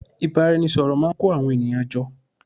ìbáraẹnisọ̀rọ̀ máà ń kó àwọn ènìyàn jọ